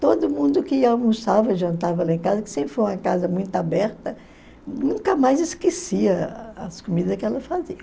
todo mundo que almoçava, jantava lá em casa, que sempre foi uma casa muito aberta, nunca mais esquecia as comidas que ela fazia.